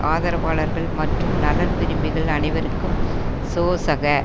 ஆதரவாளர்கள் மற்றும் நலன் விரும்பிகள் அனைவருக்கும் சோசக